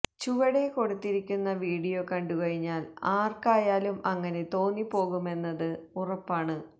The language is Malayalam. ചുവടേ കൊടുത്തിരിക്കുന്ന വീഡിയോ കണ്ടു കഴിഞ്ഞാൽ ആർക്കായാലും അങ്ങനെ തോന്നിപ്പോകുമെന്നത് ഉറപ്പാണ്